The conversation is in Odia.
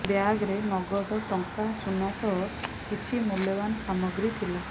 ବ୍ୟାଗ୍ରେ ନଗଦ ଟଙ୍କା ସୁନା ସହ କିଛି ମୂଲ୍ୟବାନ ସାମଗ୍ରୀ ଥିଲା